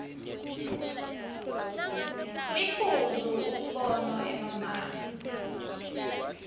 liphuzu umbono emamaki